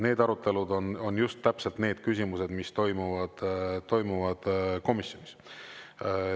Need arutelud on just täpselt need küsimused, mis toimuvad komisjonis.